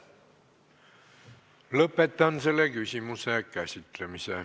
Lõpetan selle küsimuse käsitlemise.